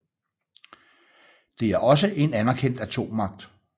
Det er også en anerkendt atommagt